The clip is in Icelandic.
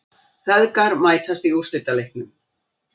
Feðgar mætast í úrslitaleiknum